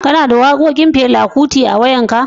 Kana da waƙoƙin Fela Kuti a wayan ka?